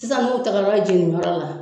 Sisan n'u tagara la.